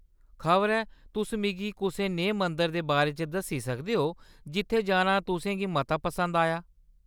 खबरै तुस मिगी कुसै नेहे मंदर दे बारे च दस्सी सकदे ओ जित्थै जाना तु; सें गी मता पसंद आया।